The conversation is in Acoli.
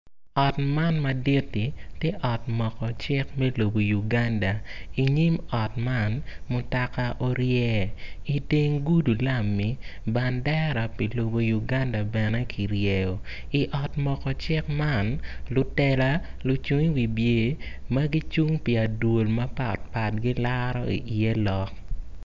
Ot man maditti ti ot Moko cik me lobo Uganda inyim ot man mutaka orye itenge gudi lami bandera pi lobo Uganda bene kiryeyo I ot Moko cik man lutela lucung i wi pye ma gicing pi adwol mapat pat gilaro iye lok